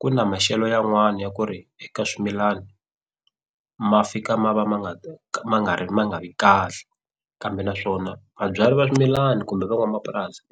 ku na maxelo yan'wana ya ku ri eka swimilana ma fika ma va ma ma nga ri ma nga vi kahle kambe naswona vabyali va swimilana kumbe van'wamapurasi